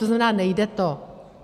To znamená, nejde to.